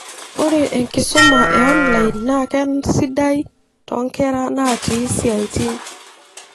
Ore enkisuma e online naa keisidai toonkera naatii siatin.